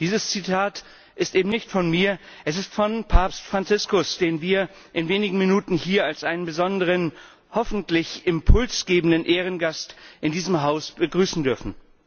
Dieses Zitat ist nicht von mir, es ist von Papst Franziskus, den wir in wenigen Minuten in diesem Haus als einen besonderen, hoffentlich Impuls gebenden Ehrengast begrüßen dürfen.